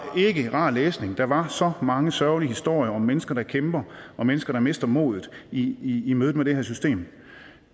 ikke rar læsning der var så mange sørgelige historier om mennesker der kæmper og mennesker der mister modet i i mødet med det her system